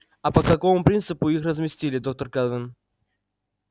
а по какому принципу их разместили доктор кэлвин